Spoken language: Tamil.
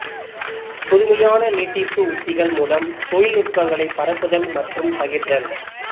புதுமையான நீட்டிப்பு உத்திகள் மூலம் தொழில்நுட்பங்களைப் பரப்புதல் மற்றும் பகிர்தல்